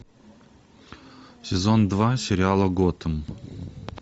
сезон два сериала готэм